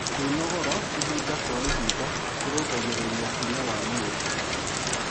Kwĩnogora ĩhĩda kwa ĩhĩda kũrũngagĩrĩrĩa hinya wa mwĩrĩ